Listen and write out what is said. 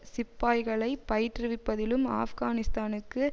சிப்பாய்களைப் பயிற்றுவிப்பதிலும் ஆப்கானிஸ்தானுக்கு